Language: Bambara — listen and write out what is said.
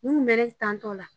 Nin kun bɛ tantɔ la.